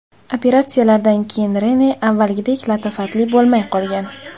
Operatsiyalardan keyin Rene avvalgidek latofatli bo‘lmay qolgan.